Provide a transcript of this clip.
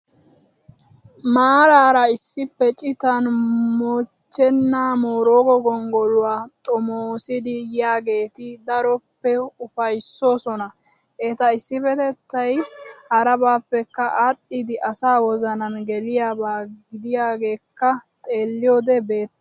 Maaraara issippe citan mochchenaa booraago gonggoluwaa xomoosidi yiyaageeti daroppe upayissoosona. Eta issippetettay harabappekka aadhdhidi asaa wozanan geliyaaba gidiyoogeekka xeelliyoode beettes